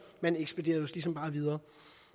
man ekspederede ligesom bare videre